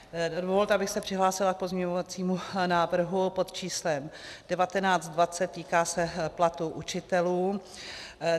Dovolte, abych se přihlásila k pozměňovacímu návrhu pod číslem 1920 - týká se platů učitelů.